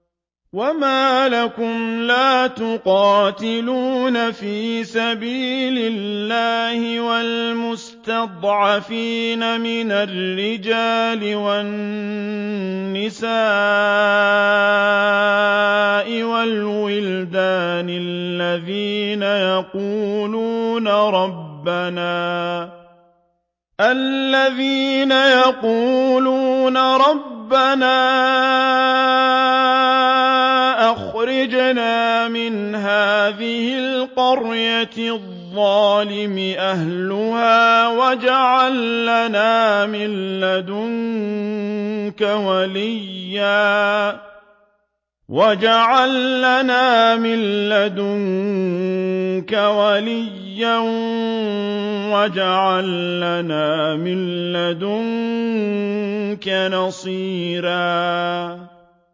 وَمَا لَكُمْ لَا تُقَاتِلُونَ فِي سَبِيلِ اللَّهِ وَالْمُسْتَضْعَفِينَ مِنَ الرِّجَالِ وَالنِّسَاءِ وَالْوِلْدَانِ الَّذِينَ يَقُولُونَ رَبَّنَا أَخْرِجْنَا مِنْ هَٰذِهِ الْقَرْيَةِ الظَّالِمِ أَهْلُهَا وَاجْعَل لَّنَا مِن لَّدُنكَ وَلِيًّا وَاجْعَل لَّنَا مِن لَّدُنكَ نَصِيرًا